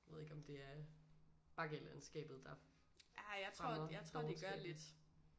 Nu ved jeg ikke om det er bakkelandskabet der fremmer dovenskaben